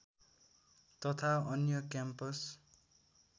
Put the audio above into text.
तथा अन्य क्याम्पस